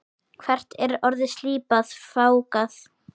Hvert orð slípað, fágað.